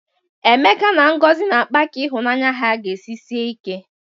Emeka na Ngozi na-akpa ka ịhụnanya ha ga-esi sie ike.